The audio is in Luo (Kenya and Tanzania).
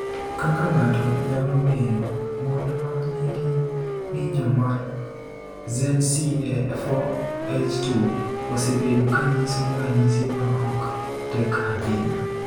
Kaka ng’ato nyalo ng’eyo, mon ma nigi ng’injo mar ZC4H2 osebedo ka nyiso ranyisi ma ok tek ahinya.